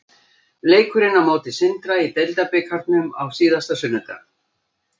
Leikurinn á móti Sindra í deildarbikarnum á síðasta sunnudag.